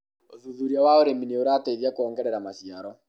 ũthuthuria wa ũrĩmi nĩ ũrateithia kuogerera maciaro